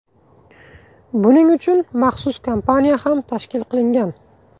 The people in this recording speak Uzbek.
Buning uchun maxsus kompaniya ham tashkil qilingan.